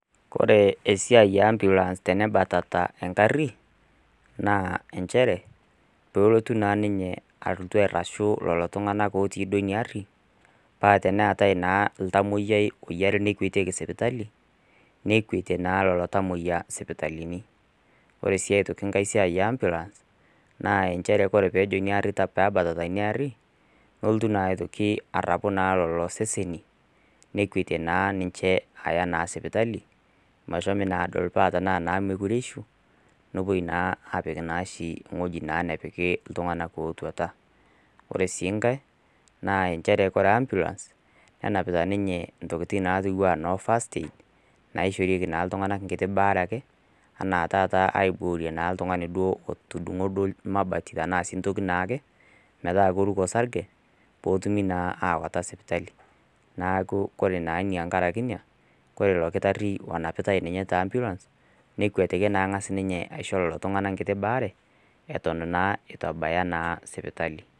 ore esiai e ambulance tenebatata engari, naa nchere, peelotu naa ninye alotu airashu lelo tung'anak otii duo ina gari, paa teneatai naa oltamwaoiyiai lonare nekwetieki sipitali, nekwetie naa lelo tamwoiya isipitalini. Ore sii aitoki enkai siai e ambulance, naa nchere ore pee ebatata ina aari, neitoki naa aitoki arapu lelo seseni, nekwetie naa ninche aya naa sipitali, meshomi naa adol, paa naa tenemekure eishu, nepuoi naa apik ashi ewueji napiki oshi iltung'ana ootuata. Ore sii enkai, naa nchere ore ambulance, nenapita ninye intokitin naatiu anaa noo first aid, naishorieki naa iltung'ana naa enkiti baare ake, anaa naa taata aiborie naa oltung'ani otudung'o duo mabati anaa sii ai toki naake, metaa keruko osarge, pee etumi naa awaita sippitali. Neaku naa ore naa tenkaraki ina, ore io kitari onapitai ninye te ambulance, nekwetiki naa ang'as aisho ninye lelo tung'ana enkiti baare, ewuen eitu naa ebaya sipitali.